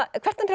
að